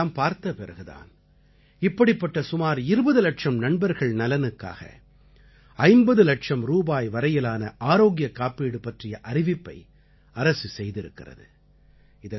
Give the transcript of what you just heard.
இதை எல்லாம் பார்த்தபிறகு தான் இப்படிப்பட்ட சுமார் 20 இலட்சம் நண்பர்கள் நலனுக்காக 50 இலட்சம் ரூபாய் வரையிலான ஆரோக்கியக் காப்பீடு பற்றிய அறிவிப்பை அரசு செய்திருக்கிறது